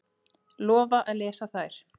Lofa að lesa þær.